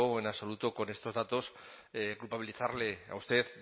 en absoluto con estos datos culpabilizarle a usted